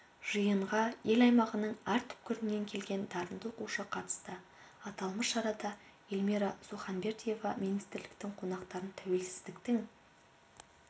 жиынға ел аймағының әр түкпірінен келген дарынды оқушы қатысты аталмыш шарада эльмира суханбердиева министірліктің қонақтарын тәуелсіздіктің